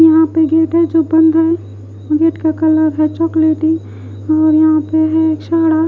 यहाँ पे गेट है जो बंद है गेट का कलर है चोकॉलाटी --